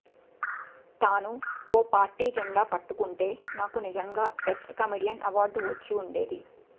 తానూ ఓ పార్టీ జెండా పట్టుకుంటే నాకు నిజంగా బెస్ట్ కమెడియన్ అవార్డు వచ్చి ఉండేది